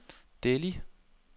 Delhi